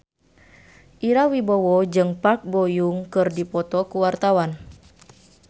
Ira Wibowo jeung Park Bo Yung keur dipoto ku wartawan